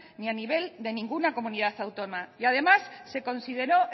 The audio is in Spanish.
ni a nivel de ninguna comunidad autónoma y además se consideró